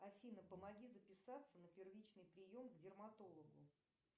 афина помоги записаться на первичный прием к дерматологу